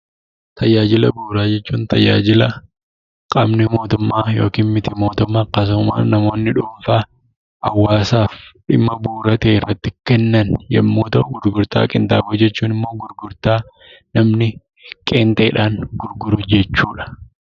Tajaajila bu'uuraa jechuun tajaajila qaamni mootummaa yookiin miti mootummaa namoonni dhuunfaa hawwaasaaf dhimma bu'uura ta'e irratti kennan yoo ta’u, gurgurtaa qinxaaboo jechuun immoo gurgurtaa namni qeenxeedhaan gurguru jechuudha.